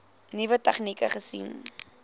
nuwe tegnieke gesien